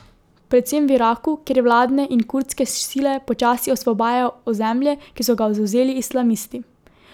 Predvsem v Iraku, kjer vladne in kurdske sile počasi osvobajajo ozemlje, ki so ga zavzeli islamisti.